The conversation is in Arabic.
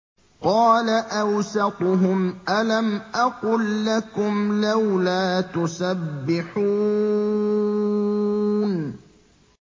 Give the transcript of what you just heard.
قَالَ أَوْسَطُهُمْ أَلَمْ أَقُل لَّكُمْ لَوْلَا تُسَبِّحُونَ